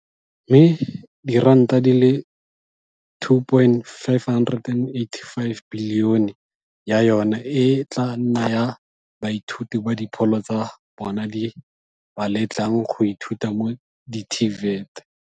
mme R2.585 bilione ya yona e tla nna ya baithuti ba dipholo tsa bona di ba letlang go ithuta mo di-TVET.